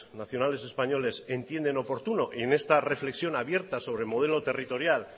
nacionales españoles entienden oportuno en esta reflexión abierta sobre modelo territorial